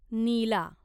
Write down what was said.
नीला